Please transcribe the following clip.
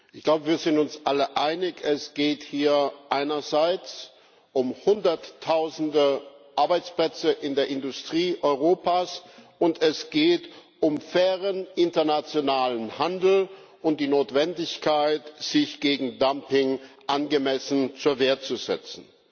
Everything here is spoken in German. Ich glaube, wir sind uns alle einig, es geht hier einerseits um Hunderttausende Arbeitsplätze in der Industrie Europas, und es geht um fairen internationalen Handel und die Notwendigkeit, sich gegen Dumping angemessen zur Wehr zu setzen.